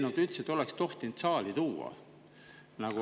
Kas üldse oleks tohtinud saali tuua sellist eelnõu …